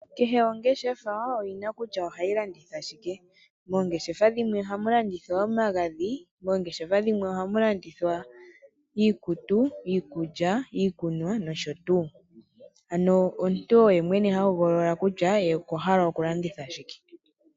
Kehe ongeshefa oyi na kutya ohayi landitha shike. Moongeshefa dhimwe ohamu landithwa omagadhi, moongeshefa dhimwe ohamu landithwa iikutu, iikulya, iikunwa nosho tuu. Ano omuntu oye mwene ha hogolola kutya ye okwa hala okulanditha shike.